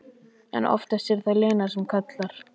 En oftast er það Lena sem kallar.